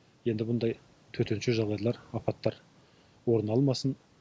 енді мұндай төтенше жағдайлар апаттар орын алмасын